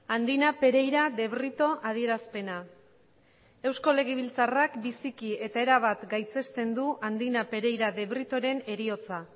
andina pereira de brito adierazpena eusko legebiltzarrak biziki eta erabat gaitzesten du andina pereira de britoren heriotza